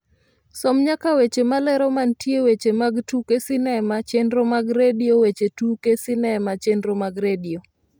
som nyaka weche malero mantie weche mag tuke sinema chenro mag redio weche tuke sinema chenro mag redio